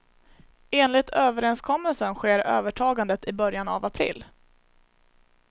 Enligt överenskommelsen sker övertagandet i början av april.